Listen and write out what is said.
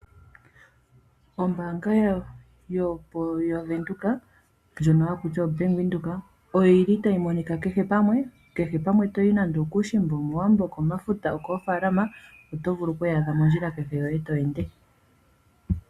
Ombaanga yaVenduka ndjoka hayi ithanwa Bank Windhoek oyili tayi monika kehe pamwe okuushimba, okomafuta, okOowambo , okoofaalama. Oto vulu okuyi adha mondjila yoye kehe to ende.